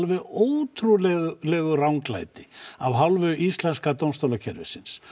ótrúlegu ranglæti af hálfu íslenska dómstólakerfisins